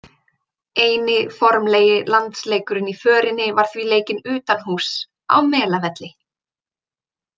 Eini formlegi landsleikurinn í förinni var því leikinn utanhúss, á Melavelli.